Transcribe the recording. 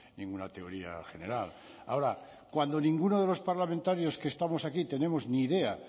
ninguna teoría general ahora cuando ninguno de los parlamentarios que estamos aquí tenemos ni idea